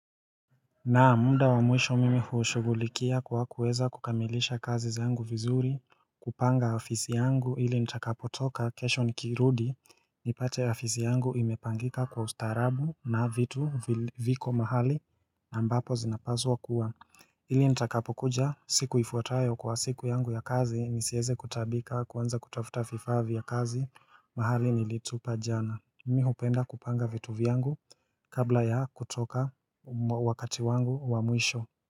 Naam muda wamwisho mimi huu shughulikia kwa kuweza kukamilisha kazi zangu vizuri kupanga ofisi yangu ili nitakapotoka kesho nikirudi nipate afisi yangu imepangika kwa ustarabu na vitu viko mahali ambapo zinapaswa kuwa ili nitakapokuja siku ifuatayo kwa siku yangu ya kazi nisieze kutaabika kuanza kutafuta vifaa vya kazi mahali nilitupa jana Mmi hupenda kupanga vitu vyangu kabla ya kutoka wakati wangu wa mwisho.